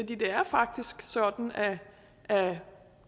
det er faktisk sådan at det